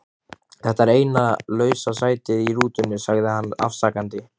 Þetta er eina lausa sætið í rútunni sagði hann afsakandi.